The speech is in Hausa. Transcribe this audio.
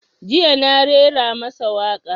Jiya na raira masa waƙa